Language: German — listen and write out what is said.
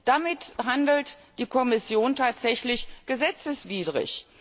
Damit handelt die Kommission tatsächlich gesetzeswidrig!